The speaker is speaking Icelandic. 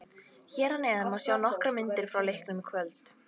Hér að neðan má sjá nokkrar myndir frá leiknum í kvöld